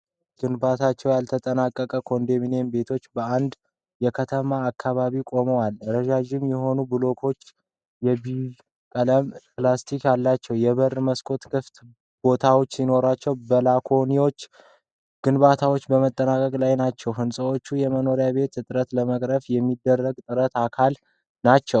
ግንባታቸው ያልተጠናቀቀ ኮንዶሚኒየም ቤቶች በአንድ የከተማ አካባቢ ቆመዋል። ረዣዥም የሆኑ ብሎኮች የቢዥ ቀለም ፕላስተር አላቸው። የበርና መስኮት ክፍት ቦታዎች ሲኖሩ ባላኮኒዎቻቸው ግንባታቸውን በመጠባበቅ ላይ ናቸው። ሕንጻዎቹ የመኖሪያ ቤት እጥረት ለመቅረፍ የሚደረገው ጥረት አካል ናቸው።